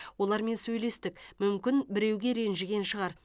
олармен сөйлестік мүмкін біреуге ренжіген шығар